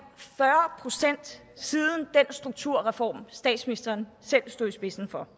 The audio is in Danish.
fyrre procent siden den strukturreform statsministeren selv stod i spidsen for